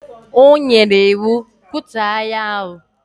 O nyere iwu, kutuo ahịa ahụ!